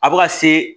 A bɛ ka se